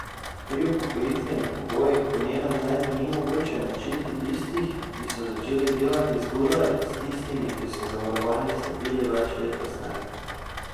Pri upokojitvenih pogojih po njenem mnenju ni mogoče enačiti tistih, ki so začeli delati zgodaj, s tistimi, ki so v zavarovanje vstopili več let kasneje.